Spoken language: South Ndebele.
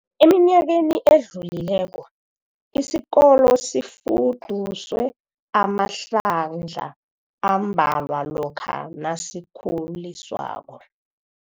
Eminyakeni edlulileko, isikolo sifuduswe amahlandla ambalwa lokha nasikhuliswako.